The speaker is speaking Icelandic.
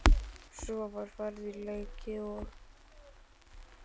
Svo var farið í leiki og